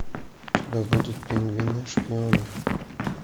у тебя будет пингвины шпионы